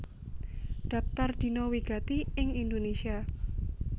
Dhaptar Dina wigati ing Indonésia